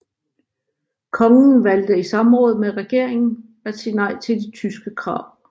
Kongen valgte i samråd med regeringen at sige nej til de tyske krav